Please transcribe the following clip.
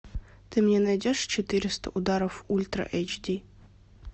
ты мне найдешь четыреста ударов ультра эйч ди